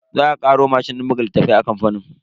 Za a karo mashin din buga littafai a kamfanin.